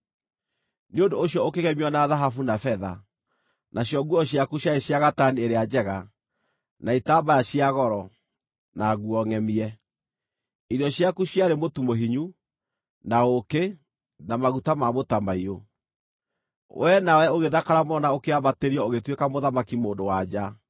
Nĩ ũndũ ũcio ũkĩgemio na thahabu na betha: nacio nguo ciaku ciarĩ cia gatani ĩrĩa njega, na itambaya cia goro, na nguo ngʼemie. Irio ciaku ciarĩ mũtu mũhinyu, na ũũkĩ, na maguta ma mũtamaiyũ. Wee nawe ũgĩthakara mũno na ũkĩambatĩrio ũgĩtuĩka mũthamaki-mũndũ-wa-nja.